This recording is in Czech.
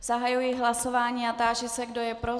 Zahajuji hlasování a táži se, kdo je pro.